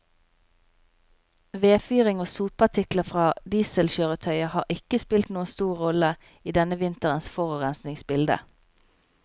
Vedfyring og sotpartikler fra dieselkjøretøyer har ikke spilt noen stor rolle i denne vinterens forurensningsbilde.